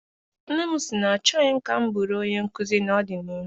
Nne m si na ọ chọghị ka m bụrụ onye nkụzi ná-ọdịnihu.